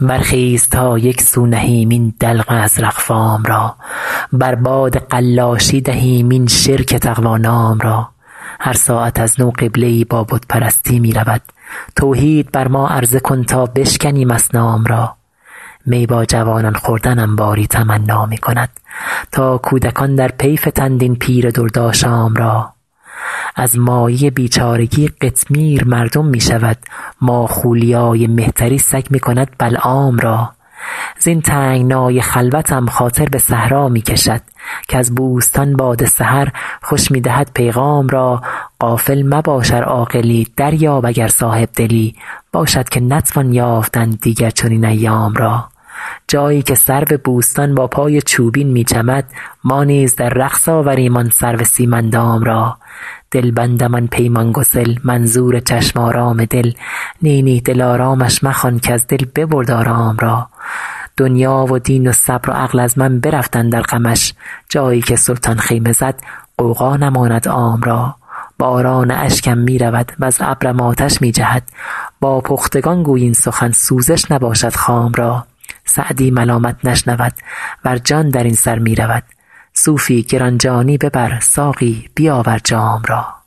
برخیز تا یک سو نهیم این دلق ازرق فام را بر باد قلاشی دهیم این شرک تقوا نام را هر ساعت از نو قبله ای با بت پرستی می رود توحید بر ما عرضه کن تا بشکنیم اصنام را می با جوانان خوردنم باری تمنا می کند تا کودکان در پی فتند این پیر دردآشام را از مایه بیچارگی قطمیر مردم می شود ماخولیای مهتری سگ می کند بلعام را زین تنگنای خلوتم خاطر به صحرا می کشد کز بوستان باد سحر خوش می دهد پیغام را غافل مباش ار عاقلی دریاب اگر صاحب دلی باشد که نتوان یافتن دیگر چنین ایام را جایی که سرو بوستان با پای چوبین می چمد ما نیز در رقص آوریم آن سرو سیم اندام را دلبندم آن پیمان گسل منظور چشم آرام دل نی نی دلآرامش مخوان کز دل ببرد آرام را دنیا و دین و صبر و عقل از من برفت اندر غمش جایی که سلطان خیمه زد غوغا نماند عام را باران اشکم می رود وز ابرم آتش می جهد با پختگان گوی این سخن سوزش نباشد خام را سعدی ملامت نشنود ور جان در این سر می رود صوفی گران جانی ببر ساقی بیاور جام را